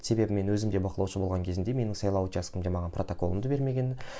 себебі мен өзім де бақылаушы болған кезімде менің сайлау учаскемде маған менің протоколымды бермеген